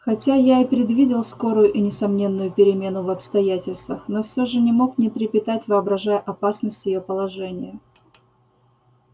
хотя я и предвидел скорую и несомненную перемену в обстоятельствах но всё же не мог не трепетать воображая опасность её положения